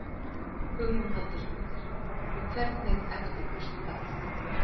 Hugrún Halldórsdóttir: Og hvernig eftirköst þá?